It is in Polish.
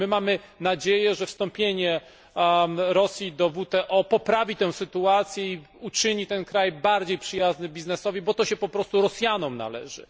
I my mamy nadzieję, że wstąpienie Rosji do WTO poprawi tę sytuację i uczyni ten kraj bardziej przyjaznym biznesowi, bo to się po prostu Rosjanom należy.